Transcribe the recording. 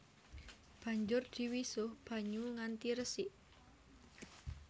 Banjur diwisuh banyu nganti resik